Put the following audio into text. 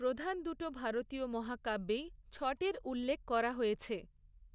প্রধান দুটো ভারতীয় মহাকাব্যেই, ছঠের উল্লেখ করা হয়েছে।